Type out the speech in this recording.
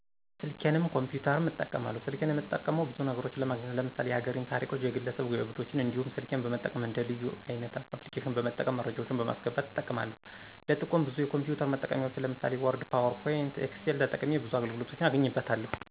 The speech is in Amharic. ሰልኬንም ኮፒተርም እጠቀማለው። ሰልኬን እምጠቀመው ብዙ ነግሮችን ለማግኘት ለምሳሌ የሀገሬን ታሪኮች፣ የግለሰብ ጅብዶችን እንዲሁም ስልኬን በመጠቀም እንደ ልዩ (leyu) አይነት አፕልኬሺን በመጠቀም መረጃወችን በማሰገባት እጠቀማለው ለጥቆም ብዙ የኮምፒውተር መጠቀሚያወችን ለምሳሌ ወርድ፣ ፓውር ፖይንት፣ ኤክሴል ተጠቅሜ ብዙ አገልግሎቶችን አገኝበታለው።